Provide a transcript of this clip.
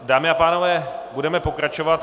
Dámy a pánové, budeme pokračovat.